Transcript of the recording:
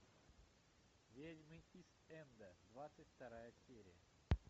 ведьмы ист энда двадцать вторая серия